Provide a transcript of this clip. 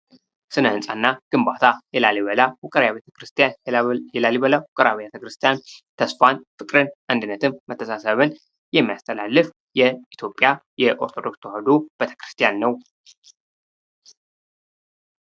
ስነ ሕንፃ እና ግንባታ የላሊበላ ዉቅር አብያተ ክርሰሰቲያን ተስፋን፣ ፍቅር፣ አንድነትን መተሳሰብን የሚያስተላልፍ የኢትዮጵያ ኦርቶዶክስ ቤተክርስቲያን ነዉ።